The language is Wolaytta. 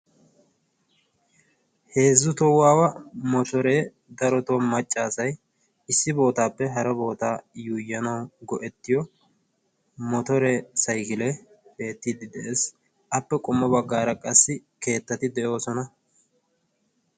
heezzu tohuwawa motoree darotoo macca asay issi bootaappe haro bootaa yuuyyanaw go7ettiyo motoree saykilee beettiddi de7ees. appe qommo baggaara qassi keettati de7oosona.